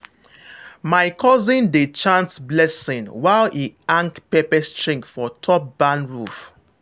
my cousin dey chant blessing while e hang pepper string for top barn roof.